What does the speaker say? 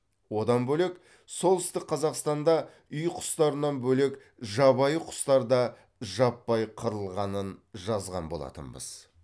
одан бөлек солтүстік қазақстанда үй құстарынан бөлек жабайы құстар да жаппай қырылғанын жазған болатынбыз